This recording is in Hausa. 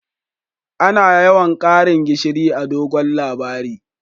Ana yawan Karin gishiri a'dogon labari.